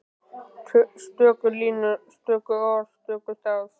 Stöku línur, stöku orð, stöku tafs.